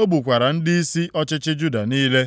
o gbukwara ndịisi ọchịchị Juda niile.